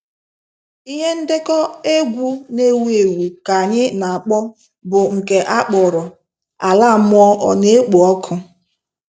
Ihe ndekọ egwu n'ewu ewu nke anyị n'akpọ bụ nke a kpọrọ "Ala Mmụọ ọ n'ekpo ọkụ?"